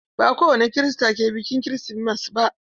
Ba kowani Kirista ke biƙin kirismas ba.